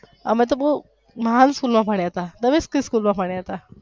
અમે તો બોવ મહાન school માં ભણ્યા તા તમે કઈ school માં ભણ્યા તા.